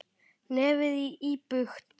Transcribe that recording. Nefið íbjúgt.